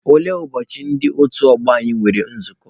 Olee ụbọchị ndị otu ọgbọ nwere nzukọ?